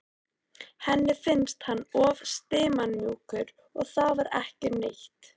Henni fannst hann of stimamjúkur en það var ekkert nýtt.